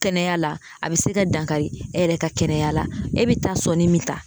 Kɛnɛya la a be se ka dankari e yɛrɛ ka kɛnɛya la e be taa sɔnni min ta